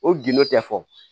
O gindo tɛ fɔ